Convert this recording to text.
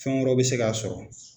Fɛn wɛrɛw bɛ se k'a sɔrɔ.